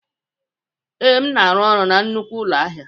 Ee, m na-arụ ọrụ na nnukwu ụlọ ahịa.